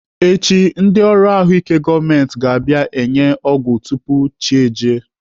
Echi, ndị ọrụ ahụike gọọmenti ga-abịa enye ọgwụ tupu chi ejie.